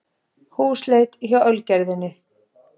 Húsleit hjá Ölgerðinni